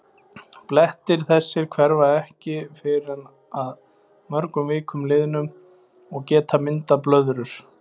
Blettir þessir hverfa ekki fyrr en að mörgum vikum liðnum og geta myndað blöðrur.